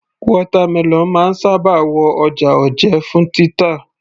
Watermelon máa ń sábà wọ ọjà òjé fún títà